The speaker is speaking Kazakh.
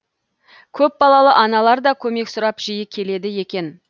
көпбалалы аналар да көмек сұрап жиі келеді екен